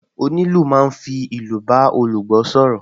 Onílù máa ń fi ìlù bá olùgbọ́ sọ̀rọ̀